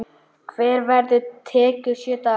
Hver ferð tekur sjö daga.